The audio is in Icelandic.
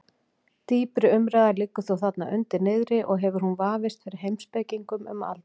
Dýpri umræða liggur þó þarna undir niðri og hefur hún vafist fyrir heimspekingum um aldir.